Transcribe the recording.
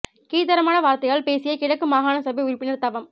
கீழ் தரமான வார்த்தையால் பேசிய கிழக்கு மாகாண சபை உறுப்பினர் தவம்